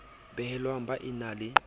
belehwang ba e na le